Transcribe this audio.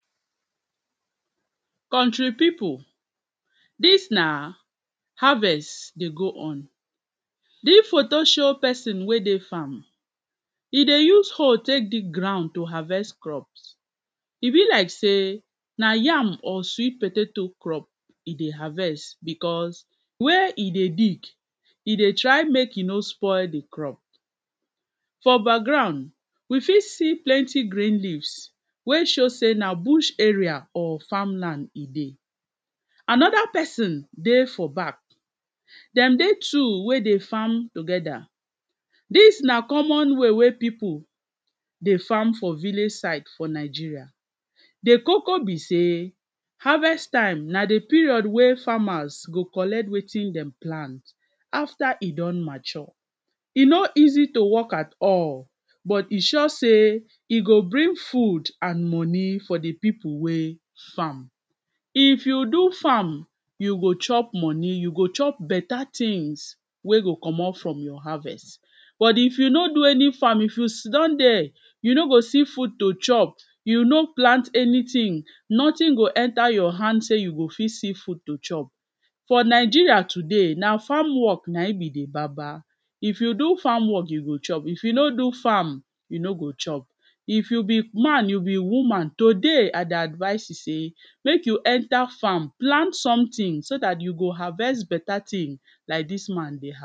Country people dis na harvest dey go on this photo show person wey dey farm e dey use hoe take dig ground to harvest crops e be like sey na yam or sweet potato crop e dey harvest because where e dey dig e dey try make e no spoil the crop for background we fit see plenty green leaves wey show say na bush area or farmland e dey another person dey for back dem dey two wey dey farm together dis na common way wey people dey farm for village site for Nigeria The Coco be sey harvest time na period wey farmers go collect wetin dem plant after e don mature e no easy to work at all but e sure sey e go bring food and money for the people wey farm if you do farm you go chop money you go chop beta tings you go chop money, yo wey go comot for your harvest but if you no do any farm if you sidon there you no go see food to chop you no plant anything nothing go enter your hand say you go fit see food to chop for Nigeria today na farm work be na him be de Baba if you do farm work you go chop if you no do farm you no go chop if you be man you be woman today I go advice you sey make you enter farm plant something so that you go harvest beta tings like this man dey har